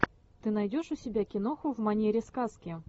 ты найдешь у себя киноху в манере сказки